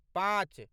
पॉंच